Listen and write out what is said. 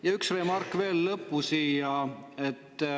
Ja üks remark siia lõppu veel.